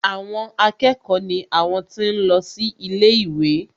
Àwọn akẹ́kọ̀ọ́ ni àwọn tí ń lọ sí ilé ìwé